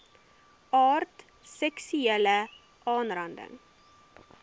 aard seksuele aanranding